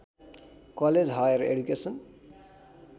college higher education